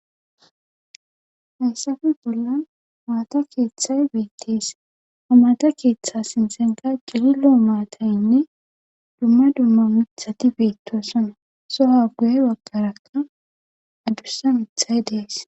Hayssafe bollan maata keethay beettees hamaata keethe sinthankka cililo maataynne dumma dumma mithati beettoosona siah guye baggara adussa mithay dees.